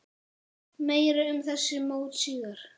Meira um þessi mót síðar.